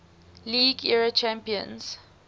league era champions